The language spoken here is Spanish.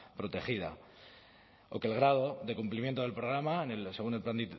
protegida o que el grado de cumplimiento del programa en el segundo plan